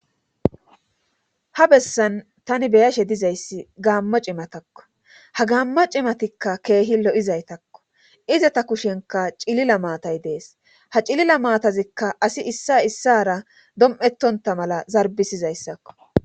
ha bessan tani beyashe dizayssi gaammo cimatakko ha gaammo cimatikka keehi lo7izaytakko iza ta kushenka cilila maatay dees ha cilila maatazikka asi issa issara dom7ettonta mala zarbisizayssakko